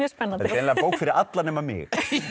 spennandi greinilega bók fyrir alla nema mig